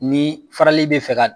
Ni farali bɛ fɛ